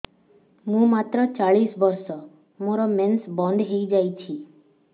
ମୁଁ ମାତ୍ର ଚାଳିଶ ବର୍ଷ ମୋର ମେନ୍ସ ବନ୍ଦ ହେଇଯାଇଛି